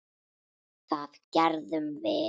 Það gerðum við.